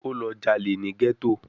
Ó lọ jalè ní gẹ́tò